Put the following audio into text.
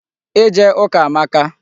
Ije ụka amaka.